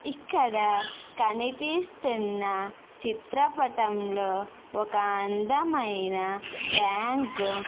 ఇక్కడ కనిపిస్తున్న చిత్రపటం లో ఒక అందమైన బ్యాంకు --